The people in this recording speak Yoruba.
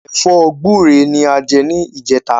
Ẹ̀fọ́ gbúre ni a jẹ ní ìjẹta